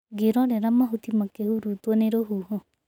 Ngĩrorera mahũti makĩhurutwo nĩ rũhuho.